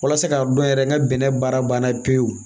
Walasa ka dɔn yɛrɛ n ka bɛnɛ baara banna pewu